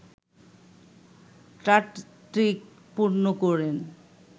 ট্যাটট্রিক পূর্ণ করেন